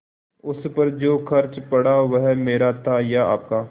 उस पर जो खर्च पड़ा वह मेरा था या आपका